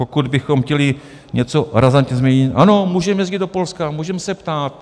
Pokud bychom chtěli něco razantně změnit, ano, můžeme jezdit do Polska, můžeme se ptát.